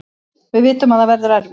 Við vitum að það verður erfitt